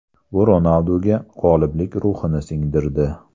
Bu Ronalduga g‘oliblik ruhini singdirdi.